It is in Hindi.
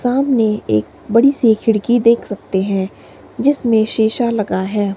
सामने एक बड़ी सी खिड़की देख सकते हैं जिसमें शीशा लगा है।